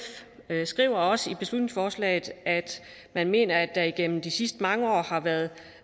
skriver også i beslutningsforslaget at man mener at der igennem de sidste mange år har været